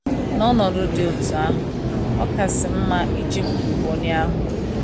N’ọnọdụ dị otú ahụ, ọ kasị mma ijekwuru onye ahụ.